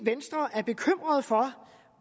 venstre er bekymret for